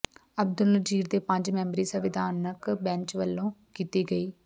ਅਬਦੁਲ ਨਜ਼ੀਰ ਦੇ ਪੰਜ ਮੈਂਬਰੀ ਸੰਵਿਧਾਨਕ ਬੈਂਚ ਵਲੋਂ ਕੀਤੀ ਗਈ